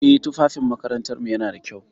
Eh, tufafin makarantarmu yana da kyau.